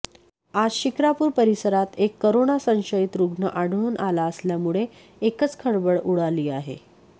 आज शिक्रापूर परिसरात एक करोना संशयित रुग्ण आढळून आला असल्यामुळे एकच खळबळ उडाली आहे